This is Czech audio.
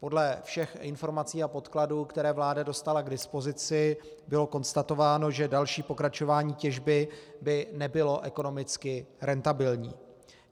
Podle všech informací a podkladů, které vláda dostala k dispozici, bylo konstatováno, že další pokračování těžby by nebylo ekonomicky rentabilní.